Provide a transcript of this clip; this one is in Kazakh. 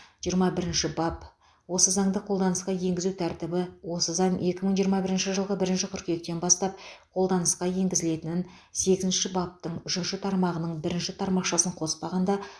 жиырма бірінші бап осы заңды қолданысқа енгізу тәртібі осы заң екі мың жиырма бірінші жылғы бірінші қыркүйектен бастап қолданысқа енгізілетін сегізінші баптың үшінші тармағының бірінші тармақшасын қоспағанда